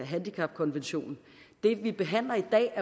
handicapkonventionen det vi behandler